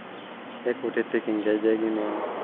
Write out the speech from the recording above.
kakutitik nkejek inonok